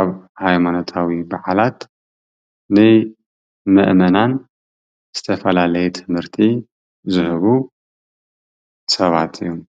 ኣብ ሃይማኖታዊ በዓላት ንመእመናን ዝተፈላለዩ ትምህርቲ ዝህቡ ሰባት እዮም።